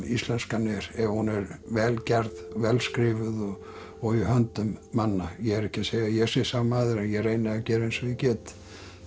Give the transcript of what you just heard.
íslenskan er ef hún er vel gerð vel skrifuð og í höndum manna ég er ekki að segja að ég sé sá maður en ég reyni að gera eins og ég get